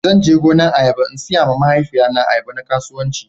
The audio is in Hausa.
Zan je gonan ayaba in siya ma mahaifiya na ayaba na kasuwanci